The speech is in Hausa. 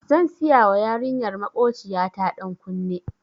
Zan siyawa yarinyar makociya ta ɗan kunne.